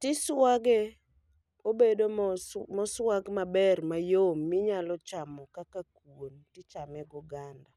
Tiswage obedo moswag maber mayom minyalo chamo kaka kuon tichame go ganda.